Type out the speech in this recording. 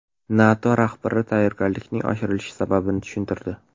NATO rahbari tayyorgarlikning oshirilishi sababini tushuntirdi.